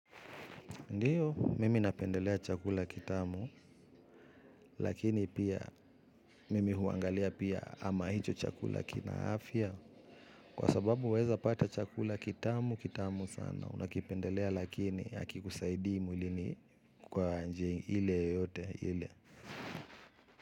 Ndiyo, mimi napendelea chakula kitamu, lakini pia mimi huangalia pia ama hicho chakula kina afya. Kwa sababu waeza pata chakula kitamu, kitamu sana, unakipendelea lakini hakikusaidii mwilini kwa njia ile yoyote ile.